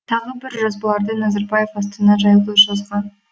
тағы бір жазбаларда назарбаев астана жайлы жазған